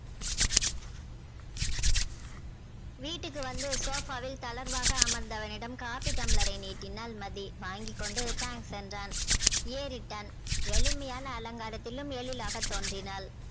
வீட்டுக்கு வந்து sofa வில் தளர்வாக அமர்தவனிடம் காப்பி டம்ளரை நீட்டினால் மதி வாங்கி கொண்டு thanks என்றான் ஏறிட்டான எளிமையான அலங்காரத்திலும் எளிலாக தோன்றினால்